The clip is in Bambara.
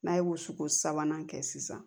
N'a ye wusuko sabanan kɛ sisan